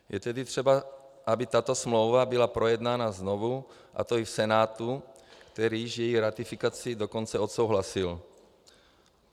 Je tedy třeba, aby tato smlouva byla projednána znovu, a to i v Senátu, který již její ratifikaci dokonce odsouhlasil.